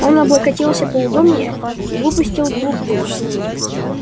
он облокотился поудобнее и выпустил клуб дыма